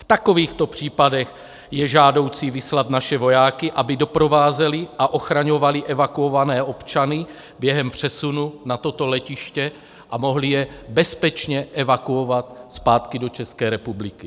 V takovýchto případech je žádoucí vyslat naše vojáky, aby doprovázeli a ochraňovali evakuované občany během přesunu na toto letiště a mohli je bezpečně evakuovat zpátky do České republiky.